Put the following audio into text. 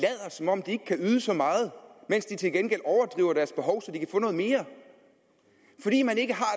om de ikke kan yde så meget mens de til gengæld overdriver deres behov så de kan få noget mere fordi man ikke har